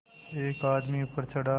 एक आदमी ऊपर चढ़ा